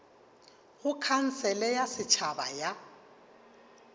go khansele ya setšhaba ya